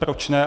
Proč ne.